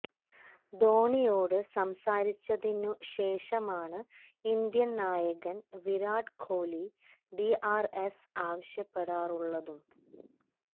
ധോണിയോട് സംസാരിച്ചതിന് ശേഷമാണ് ഇന്ത്യൻ നായകൻ Virat Kohli D R S ആവശ്യപ്പെടാറുള്ളതും